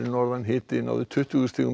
hiti náði tuttugu stigum